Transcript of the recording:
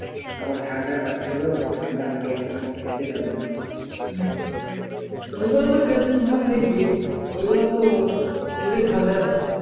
ঐ গুলা তোর বেশির ভাগ দেখবি ঐ গুলা তোর নদীর ধারে ধারে হয়